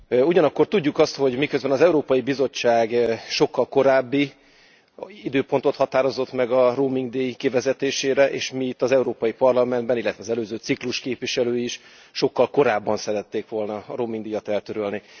Ugyanakkor tudjuk azt, hogy miközben az Európai Bizottság sokkal korábbi időpontot határozott meg a roamingdíj kivezetésére, és mi itt az Európai Parlamentben illetve az előző ciklus képviselő is sokkal korábban szerették volna a roamingdíjat eltörölni.